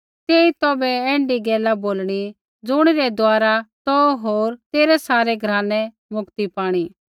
तेई तौभै ऐण्ढी गैला बोलणी ज़ुणिरै द्वारा तौ होर तेरै सारै घरानै मुक्ति पाणी